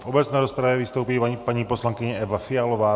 V obecné rozpravě vystoupí paní poslankyně Eva Fialová.